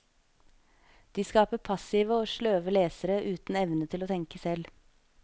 De skaper passive og sløve lesere uten evne til å tenke selv.